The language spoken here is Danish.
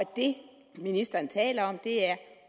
det ministeren taler om er